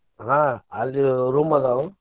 ಆಹ್ ಅಲ್ಲಿ room ಅದಾವು.